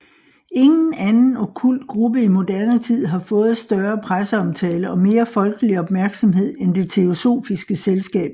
Ingen anden okkult gruppe i moderne tid har fået større presseomtale og mere folkelig opmærksomhed end Det Teosofiske Selskab